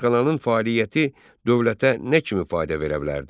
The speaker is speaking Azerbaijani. Rəsədxananın fəaliyyəti dövlətə nə kimi fayda verə bilərdi?